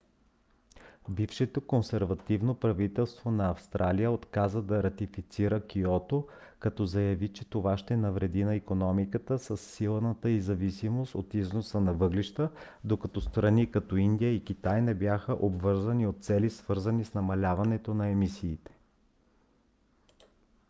бившето консервативно правителство на австралия отказа да ратифицира киото като заяви че това ще навреди на икономиката със силната й зависимост от износа на въглища докато страни като индия и китай не бяха обвързани от цели свързани с намаляването на емисиите